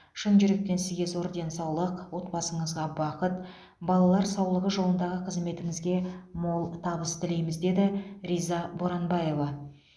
шын жүректен сізге зор денсаулық отбасыңызға бақыт балалар саулығы жолындағы қызметіңізге мол табыс тілейміз деді риза боранбаева